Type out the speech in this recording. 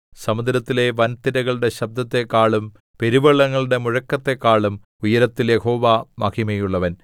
സമുദ്രത്തിലെ വൻതിരകളുടെ ശബ്ദത്തെക്കാളും പെരുവെള്ളങ്ങളുടെ മുഴക്കത്തെക്കാളും ഉയരത്തിൽ യഹോവ മഹിമയുള്ളവൻ